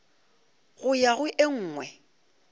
go ya go e nngwe